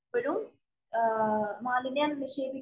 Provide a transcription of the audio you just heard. ഇപ്പോഴും മാലിന്യം നിക്ഷേപിക്കു